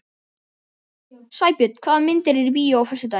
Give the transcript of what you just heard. Sæbjörn, hvaða myndir eru í bíó á föstudaginn?